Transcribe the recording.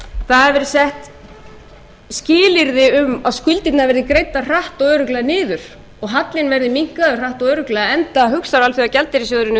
það hafa verið sett skilyrði um að skuldirnar verði greiddar hratt og örugglega niður og hallinn verði minnkaður hratt og örugglega enda hugsar alþjóðagjaldeyrissjóðurinn